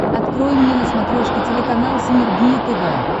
открой мне на смотрешке телеканал синергия тв